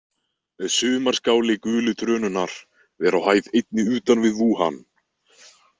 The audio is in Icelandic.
Sumarskáli gulu trönunnar er á hæð einni utan við Vúhan.